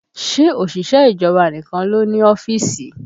Ṣé òṣìṣẹ́ ìjọba nìkan ló ń ní ọ́fíìsì?